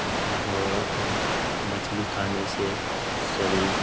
और मछली खाने से शरीर --